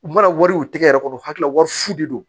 U mana wari u tɛgɛ yɛrɛ kɔnɔ u hakili la wari fu de don